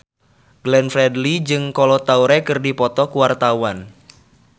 Glenn Fredly jeung Kolo Taure keur dipoto ku wartawan